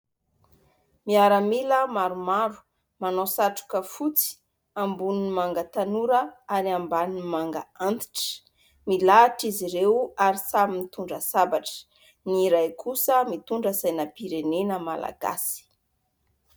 Miaramila maromaro, manao satroka fotsy, amboniny manga tanora ary ambaniny manga antitra. Milahatra izy ireo ary samy mitondra sabatra. Ny iray kosa mitondra sainam-pirenena malagasy.